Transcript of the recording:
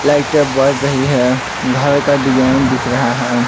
लाइटे बढ़ रही है घर का डिज़ाइन दिख रहा है।